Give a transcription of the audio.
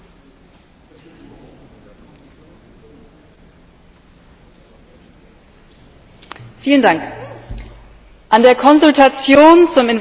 Herr Präsident! An der Konsultation zum Investor Staats Klageverfahren haben sich mehr Menschen beteiligt als jemals zuvor bei einer anderen Konsultation.